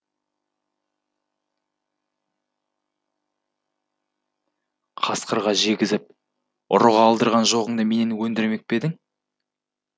қасқырға жегізіп ұрыға алдырған жоғыңды менен өндірмек пе едің